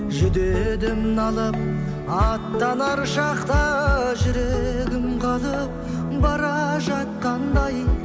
жүдедім налып аттанар шақта жүрегім қалып бара жатқандай